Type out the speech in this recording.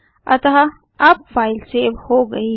अतः अब file save हो गई है